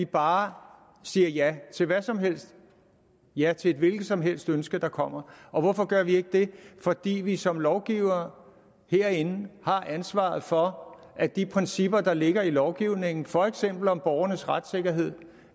bare siger ja til hvad som helst ja til et hvilket som helst ønske der kommer og hvorfor gør vi ikke det fordi vi som lovgivere herinde har ansvaret for at de principper der ligger i lovgivningen for eksempel om borgernes retssikkerhed